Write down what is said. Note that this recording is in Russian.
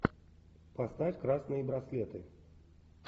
поставь красные браслеты